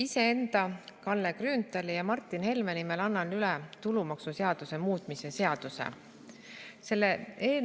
Iseenda, Kalle Grünthali ja Martin Helme nimel annan üle tulumaksuseaduse muutmise seaduse.